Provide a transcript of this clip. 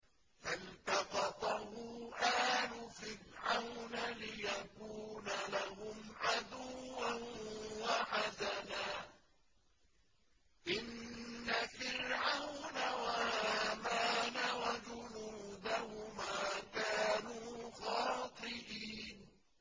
فَالْتَقَطَهُ آلُ فِرْعَوْنَ لِيَكُونَ لَهُمْ عَدُوًّا وَحَزَنًا ۗ إِنَّ فِرْعَوْنَ وَهَامَانَ وَجُنُودَهُمَا كَانُوا خَاطِئِينَ